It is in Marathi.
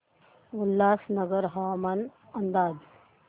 उल्हासनगर हवामान अंदाज